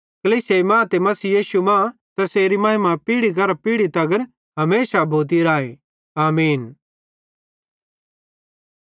कलीसिया मां ते मसीह यीशु मां तैसेरी महिमा पीढ़ी करां पीढ़ी तगर हमेशा भोती राए आमीन